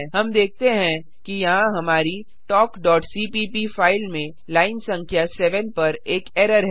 हम देखते हैं कि यहाँ हमारी talkसीपीप फाइल में लाइन संख्या 7 पर एक एरर है